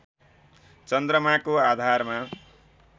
चन्द्रमाको आधारमा